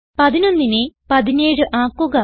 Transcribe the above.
11നെ 17 ആക്കുക